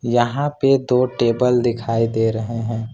यहां पे दो टेबल दिखाई दे रहे हैं।